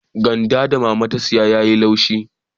Gwanda da mama ta saya ya yi laushi